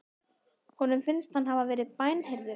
Honum finnst hann hafa verið bænheyrður.